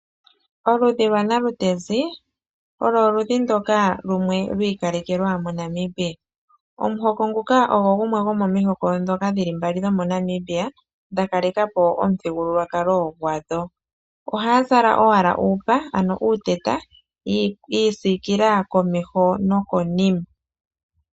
Oludhi lwa nalutezi olo oludhi ndoka lwi ikalekelwa moNamibia, omuhoko nguka ogo gumwe gwomomihoko dhoka dhi li mbali dhomoNamibia dha kalekapo omuthigululwakalo , oha ya zala owala uupa ano uuteta ya isikila komeho noko nima.